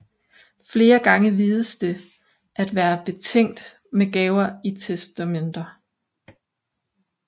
Flere gange vides det at være betænkt med gaver i testamenter